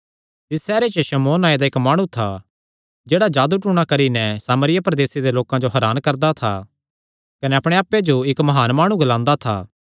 तिसी सैहरे च शमौन नांऐ दा इक्क माणु था जेह्ड़ा जादू टूणा करी नैं सामरिया प्रदेसे दे लोकां जो हरान करदा था कने अपणे आप्पे जो इक्क म्हान माणु ग्लांदा था